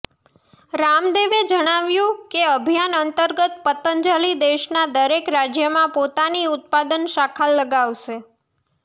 રામદેવે જણાવ્યું કે અભિયાન અંતર્ગત પતંજલિ દેશના દરેક રાજ્યમાં પોતાની ઉત્પાદન શાખા લગાવશે